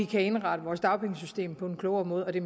kan indrette dagpengesystemet på en klogere måde og det